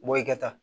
Bɔ i ka taa